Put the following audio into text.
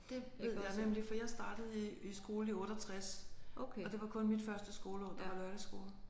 Det ved jeg nemlig for jeg startede i i skole i 68 og det var kun mit første skoleår der var lørdagsskole